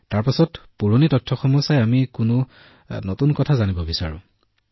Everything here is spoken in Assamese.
তাৰ পিছত পুৰণি ৰেকৰ্ডবোৰ চোৱাৰ পিছত যদি আমি কোনো নতুন কথা জানিব বিচাৰো